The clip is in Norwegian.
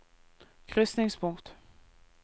krysningspunkt